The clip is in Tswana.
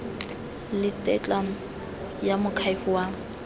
le tetla ya moakhaefe wa